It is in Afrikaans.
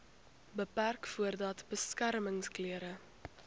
beperk voordat beskermingsklere